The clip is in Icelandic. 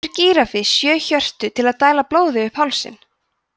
hefur gíraffi sjö hjörtu til að dæla blóði upp hálsinn